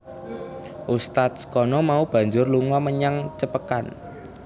Ustadz kana mau banjur lunga menyang Cepekan